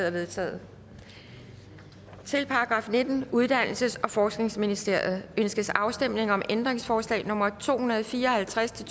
er vedtaget til § nittende uddannelses og forskningsministeriet ønskes afstemning om ændringsforslag nummer to hundrede og fire og halvtreds